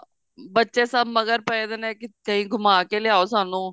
ਬੱਚੇ ਸਭ ਮਗਰ ਪੈ ਰਹੇ ਨੇ ਕਿੱਥੇ ਘੁਮਾ ਕੇ ਲੈ ਆਓ ਸਾਨੂੰ